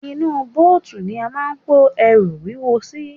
Inú bóòtù ni a máà ń kó ẹrù wúwo sí.